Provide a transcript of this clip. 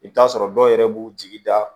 I bɛ t'a sɔrɔ dɔw yɛrɛ b'u jigi da